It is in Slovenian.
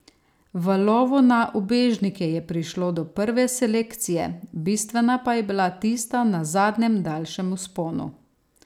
V lovu na ubežnike je prišlo do prve selekcije, bistvena pa je bila tista na zadnjem daljšem vzponu.